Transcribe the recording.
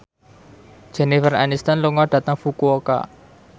Jennifer Aniston lunga dhateng Fukuoka